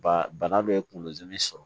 Ba bana dɔ ye kunkolo dimi sɔrɔ